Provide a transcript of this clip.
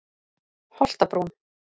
Holtabrún